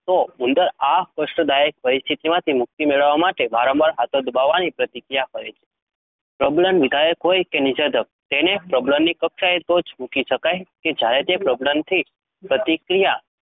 તો ઉંદર આ કષ્ટદાયક પરિસ્થિતિમાંથી મુક્તિ મેળવવા માટે વારંવાર હાથો દબાવવાની પ્રતિક્રિયા કરે છે. પ્રબલન વિધાયક હોય કે નિષેધક, તેને પ્રબલનની કક્ષાએ તો જ મૂકી શકાય કે જ્યારે તે પ્રબલનથી પ્રતિક્રિયા